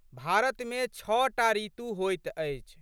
भारतमे छः टा ऋतु होइत अछि।